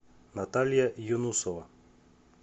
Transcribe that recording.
наталья юнусова